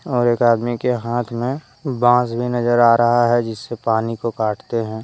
और एक आदमी के हाथ में बांस भी नजर आ रहा है जिससे पानी को काटते हैं।